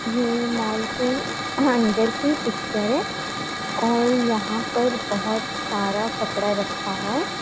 ये मॉल के अंदर की पिक्चर है और यहां पर बोहोत सारा कपड़ा रखा हुआ है।